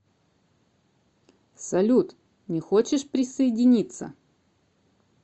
салют не хочешь присоединиться